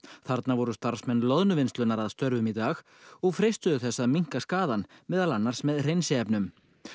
þarna voru starfsmenn Loðnuvinnslunar að störfum í dag og freistuðu þess að minnka skaðann meðal annars með hreinsiefnum